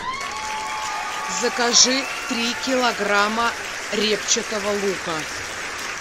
закажи три килограмма репчатого лука